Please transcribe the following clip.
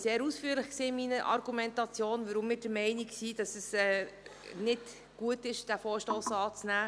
Damals war ich sehr ausführlich in meiner Argumentation, warum wir der Meinung sind, dass es nicht gut sei, diesen Vorstoss anzunehmen.